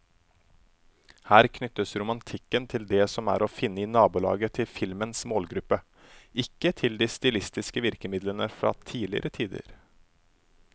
Her knyttes romantikken til det som er å finne i nabolaget til filmens målgruppe, ikke til de stilistiske virkemidlene fra tidligere tider.